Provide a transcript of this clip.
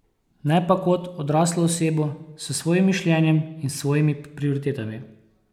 Ne pa kot odraslo osebo s svojim mišljenjem in svojimi prioritetami.